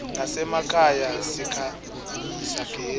nasemakhaya sikhanyisa gezi